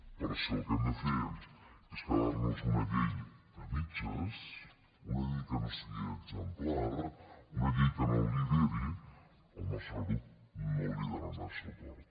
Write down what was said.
però si el que hem de fer és quedar nos una llei a mitges una llei que no sigui exemplar una llei que no lideri el nostre grup no hi donarà suport